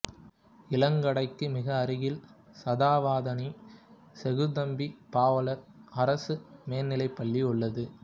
இளங்கடைக்கு மிக அருகில் சதாவதானி செய்குதம்பி பாவலர் அரசு மேல்நிலைப்பள்ளி உள்ளது